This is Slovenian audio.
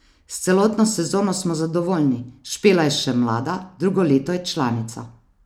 S celotno sezono smo zadovoljni, Špela je še mlada, drugo leto je članica.